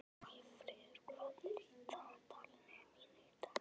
Valfríður, hvað er í dagatalinu mínu í dag?